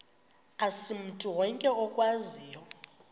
asimntu wonke okwaziyo